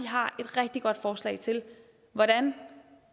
har et rigtig godt forslag til hvordan